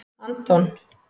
Anton